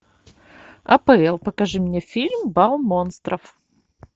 апл покажи мне фильм бал монстров